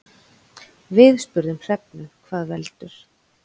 Við spurðum Hrefnu hvað veldur.